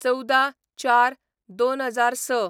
१४/०४/२००६